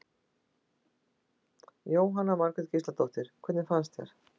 Jóhanna Margrét Gísladóttir: Hvernig fannst þér?